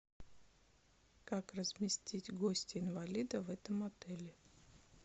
как разместить гостя инвалида в этом отеле